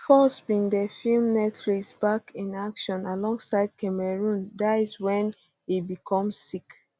foxx bin dey film netflix back in action alongside cameron diaz wen e become sick